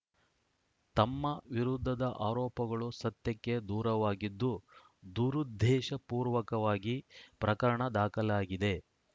ತಮ್ಮ ವಿರುದ್ಧದ ಆರೋಪಗಳು ಸತ್ಯಕ್ಕೆ ದೂರವಾಗಿದ್ದು ದುರುದ್ದೇಶಪೂರ್ವಕವಾಗಿ ಪ್ರಕರಣ ದಾಖಲಾಗಿದೆ